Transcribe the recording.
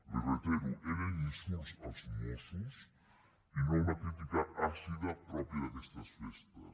li ho reitero eren insults als mossos i no una crítica àcida pròpia d’aquestes festes